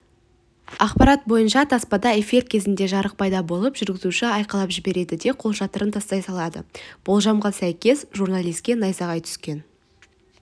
ақпарат бойынша таспада эфир кезінде жарық пайда болып жүргізуші айқайлап жібереді де қолшатырын тастай салады болжамға сәйкес журналиске найзағай түскен